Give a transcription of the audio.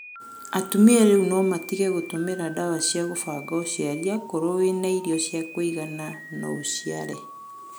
Atumĩa rĩũ no matĩge gũtũmĩra ndawa cĩa kũbanga ũcĩarĩ akorwo wĩna ĩrĩo cĩakũĩgana no ũcĩare